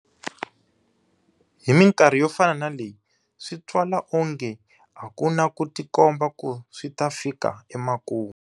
Hi mikarhi yo fana na leyi, swi twala wonge a ku na ku tikomba ku swi ta fika emakumu.